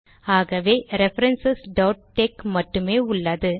ஆகவே reference tex மட்டுமே உள்ளது